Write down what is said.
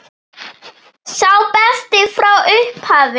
Sá besti frá upphafi?